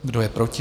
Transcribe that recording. Kdo je proti?